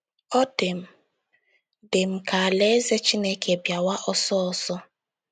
Ọ dị m dị m ka Alaeze Chineke bịawa ọsọ ọsọ. ”